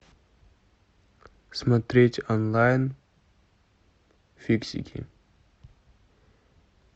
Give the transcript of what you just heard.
смотреть онлайн фиксики